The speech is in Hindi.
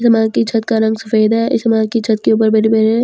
जमात की छत्त का रंग सफ़ेद है इस जमात के ऊपर मैंने मेरे पतियाँ लगी हुई--